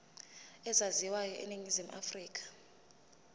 ezaziwayo eningizimu afrika